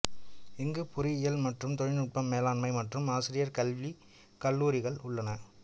இங்கு பொறியியல் மற்றும் தொழில்நுட்பம் மேலாண்மை மற்றும் ஆசிரியர் கல்வி கல்லூரிகள் உள்ளன